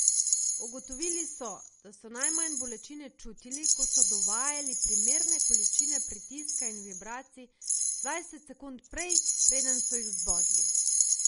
Ugotovili so, da so najmanj bolečine čutili, ko so dovajali primerne količine pritiska in vibracij dvajset sekund prej, preden so jih zbodli.